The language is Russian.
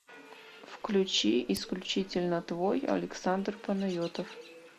включи исключительно твой александр панайотов